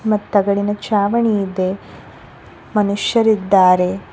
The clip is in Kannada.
ಮತ್ತು ತಗಡಿನ ಚಾವಣಿ ಇದೆ ಮನುಷ್ಯರಿದ್ದಾರೆ.